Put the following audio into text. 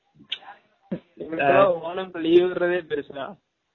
எங்கல்லுக்குலாம் ஓனம் க்கு leave விட்ரதே பெருசு டா